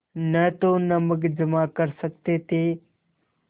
न तो नमक जमा कर सकते थे